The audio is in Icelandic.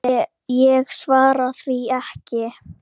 Ég svara því ekki.